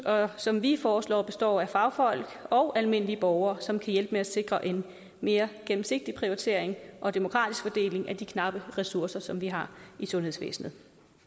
som vi foreslår består af fagfolk og almindelige borgere som kan hjælpe med at sikre en mere gennemsigtig prioritering og en demokratisk fordeling af de knappe ressourcer som vi har i sundhedsvæsenet